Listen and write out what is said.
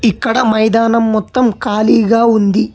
ఇక్కడ మైదానం మొత్తం ఖాళీగా ఉంది.